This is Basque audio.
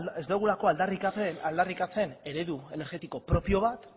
ez dugulako aldarrikatzen eredu energetiko propio bat